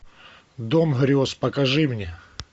дом грез покажи мне